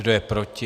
Kdo je proti?